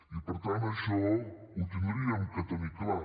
i per tant això ho hauríem de tenir clar